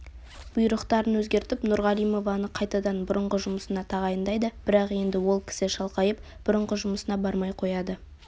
бұйрықтарын өзгертіп нұрғалимованы қайтадан бұрынғы жұмысына тағайындайды бірақ енді ол кісі шалқайып бұрынғы жұмысына бармай қояды